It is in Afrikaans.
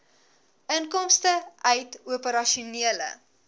inkomste uit operasionele